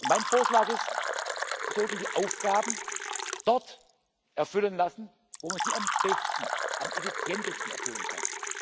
Mein Vorschlag ist Wir sollten die Aufgaben dort erfüllen lassen, wo man sie am besten, am effizientesten erfüllen kann.